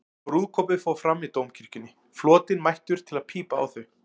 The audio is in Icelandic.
Brúðkaupið fór fram í Dómkirkjunni, flotinn mættur til að pípa á þau.